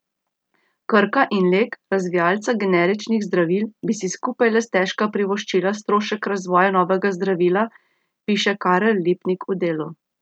Krka in Lek, razvijalca generičnih zdravil, bi si skupaj le stežka privoščila strošek razvoja novega zdravila, piše Karel Lipnik v Delu.